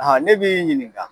Ahan, ne b'i ɲininka